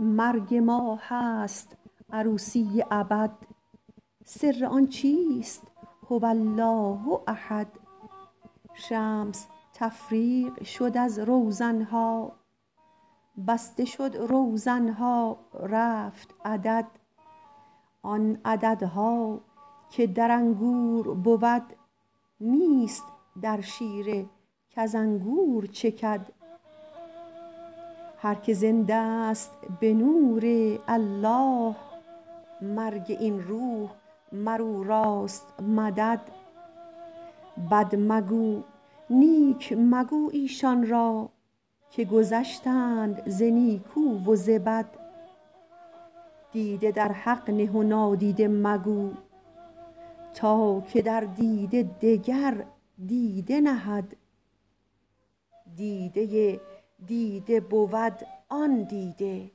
مرگ ما هست عروسی ابد سر آن چیست هو الله احد شمس تفریق شد از روزنه ها بسته شد روزنه ها رفت عدد آن عددها که در انگور بود نیست در شیره کز انگور چکد هر کی زنده ست به نورالله مرگ این روح مر او راست مدد بد مگو نیک مگو ایشان را که گذشتند ز نیکو و ز بد دیده در حق نه و نادیده مگو تا که در دیده دگر دیده نهد دیده دیده بود آن دیده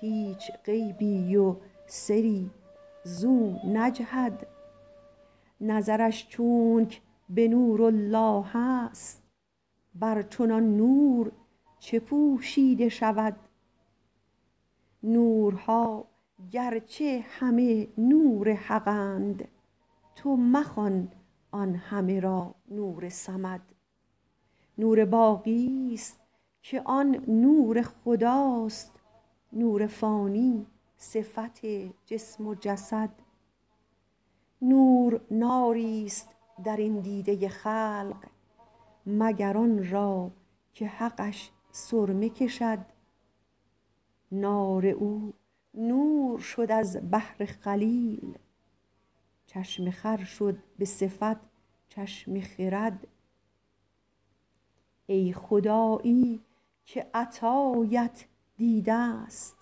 هیچ غیبی و سری زو نجهد نظرش چونک به نورالله است بر چنان نور چه پوشیده شود نورها گرچه همه نور حقند تو مخوان آن همه را نور صمد نور باقیست که آن نور خدا است نور فانی صفت جسم و جسد نور ناریست در این دیده خلق مگر آن را که حقش سرمه کشد نار او نور شد از بهر خلیل چشم خر شد به صفت چشم خرد ای خدایی که عطایت دیدست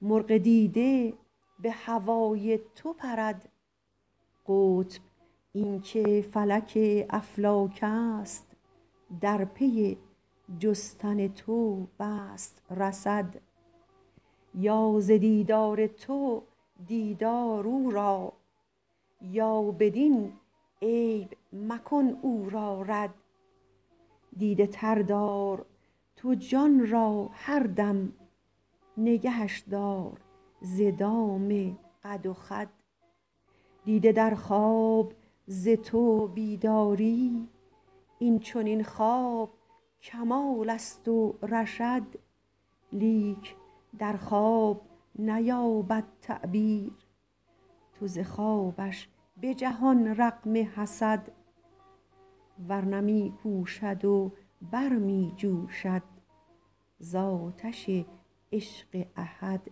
مرغ دیده به هوای تو پرد قطب این که فلک افلاکست در پی جستن تو بست رصد یا ز دیدار تو دید آر او را یا بدین عیب مکن او را رد دیده تر دار تو جان را هر دم نگهش دار ز دام قد و خد دیده در خواب ز تو بیداری این چنین خواب کمالست و رشد لیک در خواب نیابد تعبیر تو ز خوابش به جهان رغم حسد ور نه می کوشد و بر می جوشد ز آتش عشق احد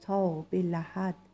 تا به لحد